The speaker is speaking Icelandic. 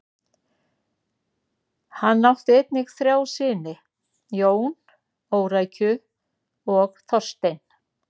Hann átt einnig þrjá syni: Jón, Órækju og Þorstein.